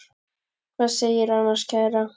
Hvað segirðu annars, kæra?